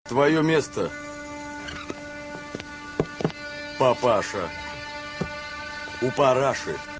твоё место папаша у параши